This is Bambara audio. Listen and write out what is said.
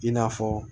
I n'a fɔ